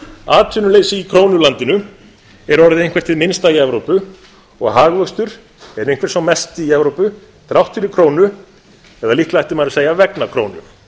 atvinnuleysi í krónulandinu er orðið eitthvert hið minnsta í evrópu og hagvöxtur er einhver sá mesti í evrópu þrátt fyrir krónu eða líklega ætti maður að segja vegna krónu